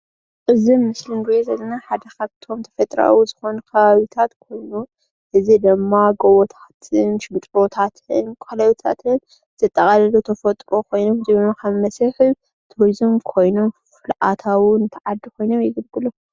እዚ ምስሊ እንሪኦ ዘለና ሓደ ካፍቶም ተፈጥራኣዊ ዝኾኑ ከባብታት እዙይ ድማ ጎቦታትን ሸንጥሮታትን ንቱሪዝም ኣታዊ ኾይኖም ዘገልጉሉና እዮሞ።